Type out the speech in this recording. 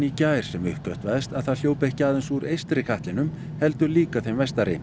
í gær sem uppgötvaðist að það hljóp ekki aðeins úr eystri katlinum heldur líka þeim vestari